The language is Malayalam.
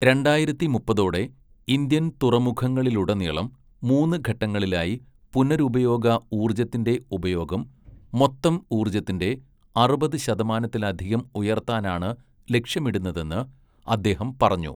രണ്ടായിരത്തി മുപ്പതോടെ ഇന്ത്യൻ തുറമുഖങ്ങളിലുടനീളം മൂന്ന് ഘട്ടങ്ങളിലായി പുനരുപയോഗ ഊർജ്ജത്തിന്റെ ഉപയോഗം മൊത്തം ഊർജ്ജത്തിന്റെ അറുപത് ശതമാനത്തിലധികം ഉയർത്താനാണ് ലക്ഷ്യമിടുന്നതെന്ന് അദ്ദേഹം പറഞ്ഞു.